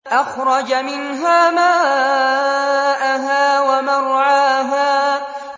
أَخْرَجَ مِنْهَا مَاءَهَا وَمَرْعَاهَا